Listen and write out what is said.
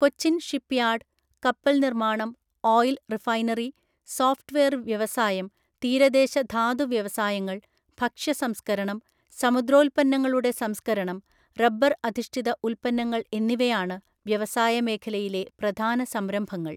Cochin shipyard, കപ്പല്‍നിര്‍മ്മാണം, oil refinery, software വ്യവസായം, തീരദേശ ധാതുവ്യവസായങ്ങൾ, ഭക്ഷ്യസംസ്ക്കരണം, സമുദ്രോൽപ്പന്നങ്ങളുടെ സംസ്ക്കരണം, റബ്ബർ അധിഷ്ഠിത ഉൽപ്പന്നങ്ങൾ എന്നിവയാണ് വ്യവസായമേഖലയിലെ പ്രധാനസംരംഭങ്ങൾ.